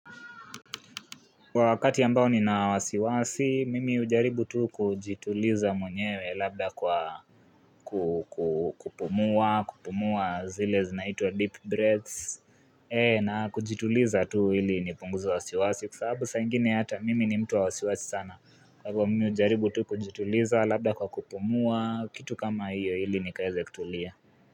Kwa wakati ambao nina wasiwasi, mimi hujaribu tu kujituliza mwenyewe labda kwa kupumua, kupumua zile zinaitwa deep breaths, na kujituliza tu ili nipunguze wasiwasi, kwa sababu saa ingine hata mimi ni mtu wa wasiwasi sana, kwa hivo mimi hujaribu tu kujituliza labda kwa kupumua, kitu kama hiyo ili nikaeze kutulia.